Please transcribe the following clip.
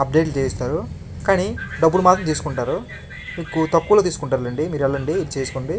Update లు చేయిస్తారు కానీ డబ్బులు మాత్రం తీసుకుంటారు మీకు తక్కువ లో తీసుకుంటారులెండి మీరు ఏళ్ళండి ఇది చేస్కోండి.